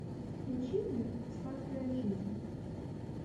включи мне сладкая жизнь